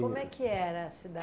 Como é que era a